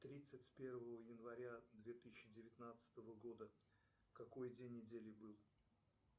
тридцать первого января две тысячи девятнадцатого года какой день недели был